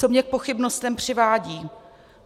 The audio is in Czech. Co mě k pochybnostem přivádí?